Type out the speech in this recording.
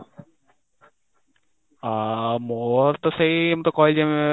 ଆଁ ମୋର ତା ସେଇ ମୁଁ ତ କହିଲି ଉଁ